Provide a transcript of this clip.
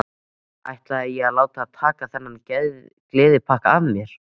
Ætlaði ég að láta taka þennan gleðigjafa af mér?